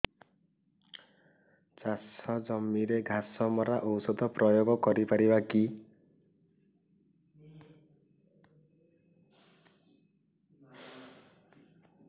ଚାଷ ଜମିରେ ଘାସ ମରା ଔଷଧ ପ୍ରୟୋଗ କରି ପାରିବା କି